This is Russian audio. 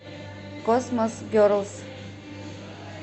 космос герлс